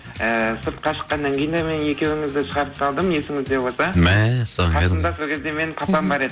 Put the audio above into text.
і сыртқа шыққаннан кейін де мен екеуіңізді шығарып салдым есіңізде болса мәссаған қасымда сол кезде менің папам бар еді